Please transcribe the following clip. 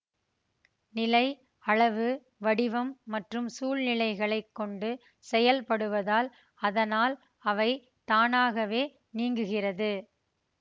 நிலை அளவு வடிவம் மற்றும் சூழ்நிலைகளைக் கொண்டு செயல்படுவதால் அதனால் அவை தானாகவே நீங்குகிறது